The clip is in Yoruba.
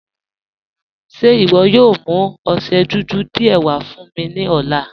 Ṣe iwọ yóò mú ọṣẹ́ dúdú díẹ̀ wà fún mi ni ọ̀lá?